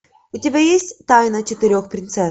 у тебя есть тайна четырех принцесс